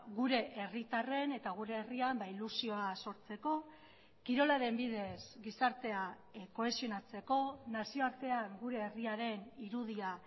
gure herritarren eta gure herrian ilusioa sortzeko kirolaren bidez gizartea kohesionatzeko nazioartean gure herriaren irudia